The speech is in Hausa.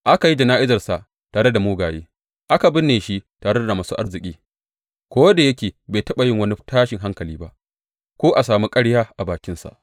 Aka yi jana’izarsa tare da mugaye, aka binne shi tare da masu arziki, ko da yake bai taɓa yin wani tashin hankali ba, ko a sami ƙarya a bakinsa.